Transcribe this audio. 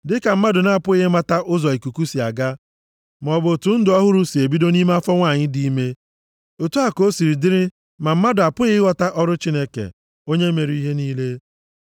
Dịka mmadụ na-apụghị ịmata ụzọ ikuku si aga maọbụ otu ndụ ọhụrụ si ebido nʼime afọ nwanyị dị ime, otu a ka o si dịrị ma mmadụ apụghị ịghọta ọrụ Chineke, onye mere ihe niile.